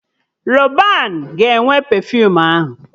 Rọban ga-enwe pefuum ahụ